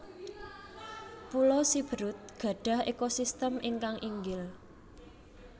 Pulo Siberut gadhah ekosistem ingkang inggil